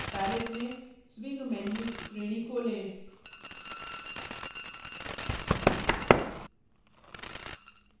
palette में swing menus श्रेणी खोलें